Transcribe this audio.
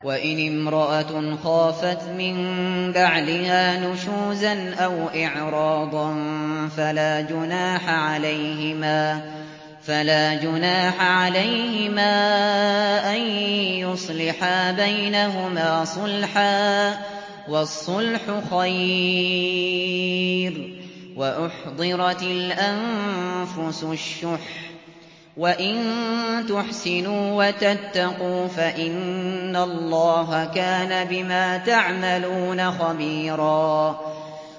وَإِنِ امْرَأَةٌ خَافَتْ مِن بَعْلِهَا نُشُوزًا أَوْ إِعْرَاضًا فَلَا جُنَاحَ عَلَيْهِمَا أَن يُصْلِحَا بَيْنَهُمَا صُلْحًا ۚ وَالصُّلْحُ خَيْرٌ ۗ وَأُحْضِرَتِ الْأَنفُسُ الشُّحَّ ۚ وَإِن تُحْسِنُوا وَتَتَّقُوا فَإِنَّ اللَّهَ كَانَ بِمَا تَعْمَلُونَ خَبِيرًا